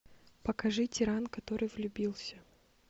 покажи тиран который влюбился